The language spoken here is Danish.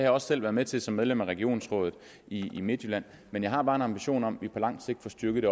også selv været med til som medlem af regionsrådet i midtjylland men jeg har bare en ambition om at vi på lang sigt får styrket